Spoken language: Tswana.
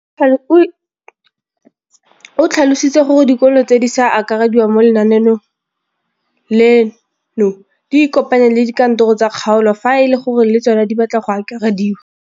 O tlhalositse gore dikolo tse di sa akarediwang mo lenaaneng leno di ikopanye le dikantoro tsa kgaolo fa e le gore le tsona di batla go akarediwa.